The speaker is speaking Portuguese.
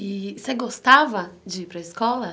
E você gostava de ir para escola?